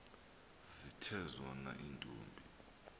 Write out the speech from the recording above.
zithe zona iintombi